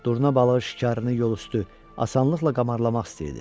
Durna balığı şikarını yolüstü asanlıqla qamarlamaq istəyirdi.